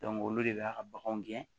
olu de b'a ka baganw gɛn